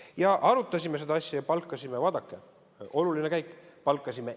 Me arutasime seda asja ja palkasime – vaadake, oluline käik!